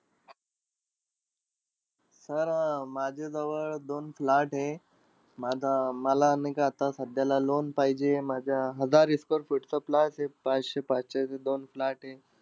Sir अं माझ्याजवळ दोन plot आहेत. माझा मला नाई का आता सध्याला loan पाहिजे. माझ्या हजार square feet चा plot आहे. पाचशे-पाचशेचे दोन plot आहे.